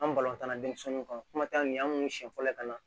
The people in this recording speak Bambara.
An denmisɛnninw ka kuma ta nin an kun siɲɛ fɔlɔ ka na